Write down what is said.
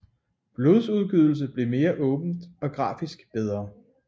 Blodudgydelse blev mere åbent og grafisk bedre